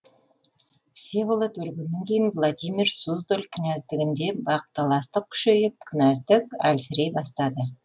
всеволод өлгеннен кейін владимир суздаль кінәздігінде бақталастық күшейіп кінәздік әлсірей бастады